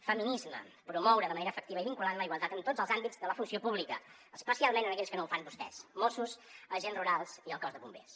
feminisme promoure de manera efectiva i vinculant la igualtat en tots els àmbits de la funció pública especialment en aquells que no ho fan vostès mossos agents rurals i el cos de bombers